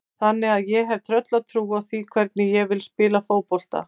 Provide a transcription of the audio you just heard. Þannig að ég hef tröllatrú á því hvernig ég vil spila fótbolta.